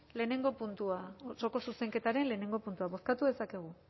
lehenengo puntua osoko zuzenketaren lehenengo puntua bozkatu dezakegu